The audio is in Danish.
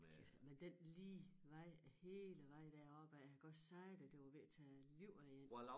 Kæft men den lige vej æ hele vej deropad jeg kan godt sige dig det var ved at tage æ liv af én